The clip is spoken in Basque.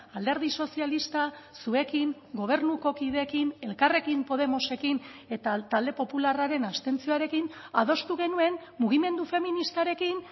alderdi sozialista zuekin gobernuko kideekin elkarrekin podemosekin eta talde popularraren abstentzioarekin adostu genuen mugimendu feministarekin